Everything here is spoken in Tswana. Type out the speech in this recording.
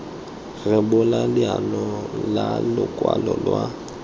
rebolwa leano la lokwalo lwa